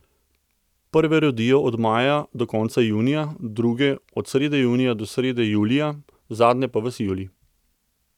Prve rodijo od maja do konca junija, druge od srede junija do srede julija, zadnje pa ves julij.